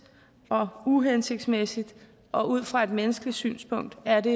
og uhensigtsmæssigt og ud fra et menneskeligt synspunkt er det